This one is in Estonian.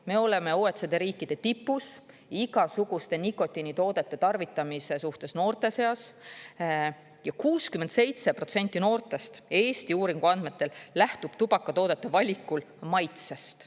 Me oleme OECD riikide tipus igasuguste nikotiinitoodete tarvitamise suhtes noorte seas ja 67% noortest Eesti uuringu andmetel lähtub tubakatoodete valikul maitsest.